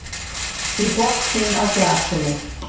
í botninn á glasinu.